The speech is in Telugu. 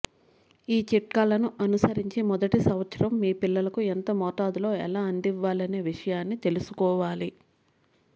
ఈ చిట్కాలను అనుసరించి మెదటి సంవత్సరం మీ పిల్లలకు ఎంత మోతాదలులో ఎలా అందివ్వాలనే విషయాన్ని తెలుసుకోవాలి